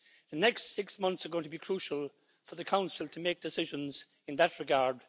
The next six months are going to be crucial for the Council to make decisions in that regard.